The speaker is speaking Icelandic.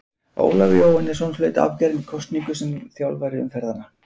Ólafur Jóhannesson hlaut afgerandi kosningu sem þjálfari umferðanna.